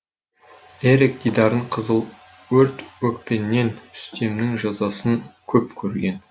эрик дидарын қызыл өрт өпкеннен үстемнің жазасын көп көрген